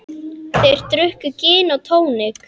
Þeir drukku gin og tónik.